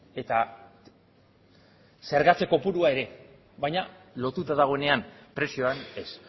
eta zergatze kopurua ere baina lotuta dagoenean prezioan ez